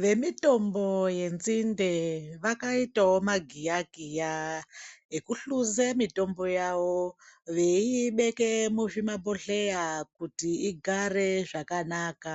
Vemitombo yenzinde vakaitawo magiyakiya ekuhluze mitombo yavo veiibeke muzvimabhodhleya kuti igare zvakanaka